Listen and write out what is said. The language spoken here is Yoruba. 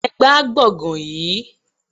Ẹ gbá gbọ̀ngàn yìí!